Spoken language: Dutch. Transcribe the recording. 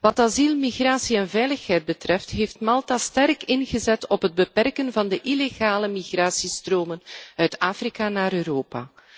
Wat asiel, migratie en veiligheid betreft heeft Malta sterk ingezet op het beperken van de illegale migratiestromen uit Afrika naar Europa.